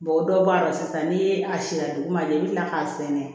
dɔ b'a la sisan ni a sera dugu ma i bi kila k'a sɛnɛ